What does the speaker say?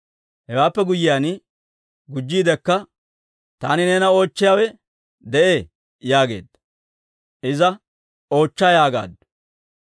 Hewaappe guyyiyaan gujjiidekka, «Taani neena oochchiyaawe de'ee» yaageedda. Iza, «Oochcha» yaagaaddu.